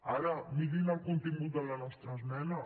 ara mirin el contingut de la nostra esmena